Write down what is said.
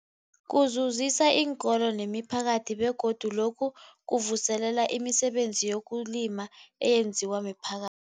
Kuzuzisa iinkolo nemiphakathi begodu lokhu kuvuselela imisebenzi yezokulima eyenziwa miphaka